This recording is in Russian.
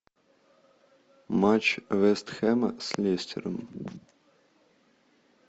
матч вест хэма с лестером